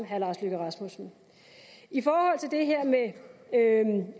herre lars løkke rasmussen i forhold til det her med